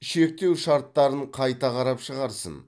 шектеу шарттарын қайта қарап шығарсын